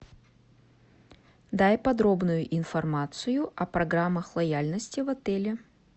дай подробную информацию о программах лояльности в отеле